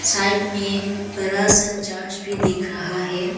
Side में बड़ा सा चर्च भी दिख रहा है।